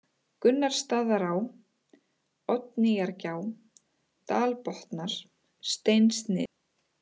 Gunnarsstaðaá, Oddnýjargjá, Dalbotnar, Steinsnið